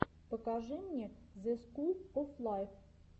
покажи мне зе скул оф лайф